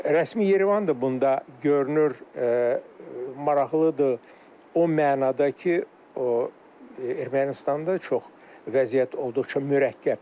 Rəsmi İrəvan da bunda görünür maraqlıdır o mənada ki, Ermənistanda çox vəziyyət olduqca mürəkkəbdir.